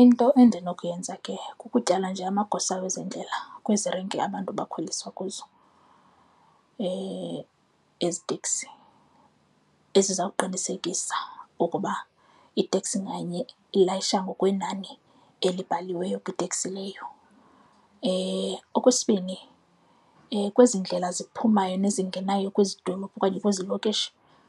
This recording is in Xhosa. Into endinokuyenza ke kukutyala nje amagosa wezendlela kwezi renki abantu abakhweliswa kuzo ezi teksi eziza kuqinisekisa ukuba iteksi nganye ilayisha ngokwenani elibaliweyo kwiteksi leyo. Okwesibini, kwezi ndlela ziphumayo nezingenayo kwezi dolophu okanye kwezi lokishi,